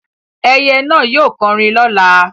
Ẹyẹ náà yóò kọrin lọ́la.